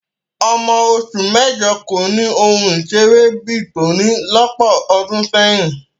Ọmọ oṣù mẹ́jọ kò ni ohun ìṣeré bí i tòní lọ́pọ̀ ọdún sẹ́yìn